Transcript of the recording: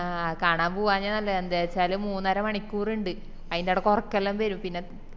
അഹ് കാണാൻ പോവാഞ്ഞത് നല്ലയ എന്താച്ചാല് മൂന്നര മണിക്കൂറിൻഡ് അയിൻണ്ടേടക്ക് ഒറക്കെല്ലൊം വെരും പിന്ന